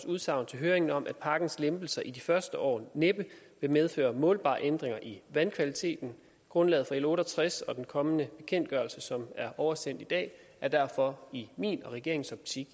udsagn ved høringen om at pakkens lempelser i de første år næppe vil medføre målbare ændringer i vandkvaliteten grundlaget for l otte og tres og den kommende bekendtgørelse som er oversendt i dag er derfor i min og regeringens optik